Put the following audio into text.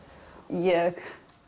ég